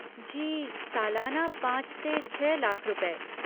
जी, सालाना पाँच से छः लाख रुपए।